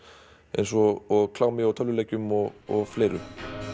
eins og klámi tölvuleikjum og og fleiru